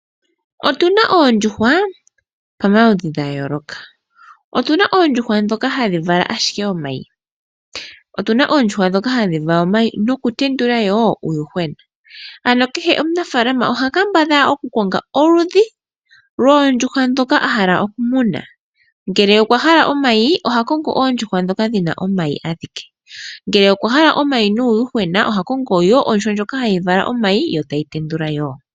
Otuna oondjuhwa pama ludhi ga yooloka. Otuna oondjuhwa ndhoka hadhi vala ashike omayi, noku tendula woo uuyuhwena. Kehe omunafaalama oha kambadhala oku konga oludhi loo ndjuhwa ndhoka ahala okumuna. Ngele okwa hala omayi oha kongo oondjuhwa ndhoka dhina omayi adhike. Ngele okwahala omayi nuuyuhwena ohakongo woo ondjuhwa ndjoka hayi vala omayi yoo tayi tendula yoo.